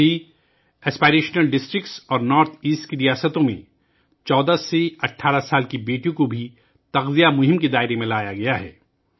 تمام امنگوں والے اضلاع اور شمال مشرق کے ریاستوں میں 14 سے 18 سال کی بیٹیوں کو بھی پوشن ابھیان کے دائرے میں لایا گیا ہے